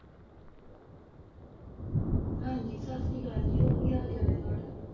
ਹਾਂਜੀ ਸਤਿ ਸ੍ਰੀ ਅਕਾਲ ਜੀ, ਹੋਰ ਕੀ ਹਾਲ ਚਾਲ ਹੈ ਤੁਹਾਡਾ?